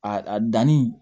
A danni